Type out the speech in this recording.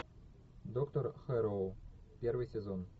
доктор хэрроу первый сезон